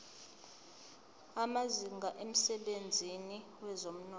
amazinga emsebenzini wezomnotho